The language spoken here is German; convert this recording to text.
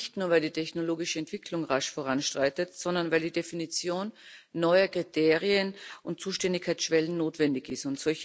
Nicht nur weil die technologische Entwicklung rasch voranschreitet, sondern weil die Definition neuer Kriterien und Zuständigkeitsschwellen notwendig ist.